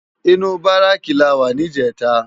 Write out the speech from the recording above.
Inú báráki làwá nijètá